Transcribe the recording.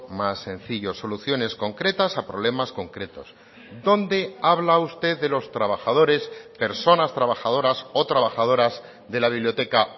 más sencillo soluciones concretas a problemas concretos dónde habla usted de los trabajadores personas trabajadoras o trabajadoras de la biblioteca